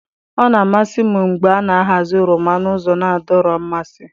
Ọ na-amasị m mgbe a na-ahazi oroma n'ụzọ na-adọrọ mmasị.